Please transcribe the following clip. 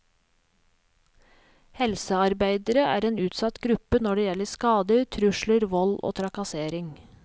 Helsearbeidere er en utsatt gruppe når det gjelder skader, trusler, vold og trakassering.